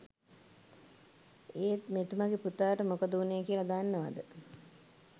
ඒත් මෙතුමගෙ පුතාට මොකද උනේ කියල දන්නවද?